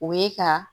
O ye ka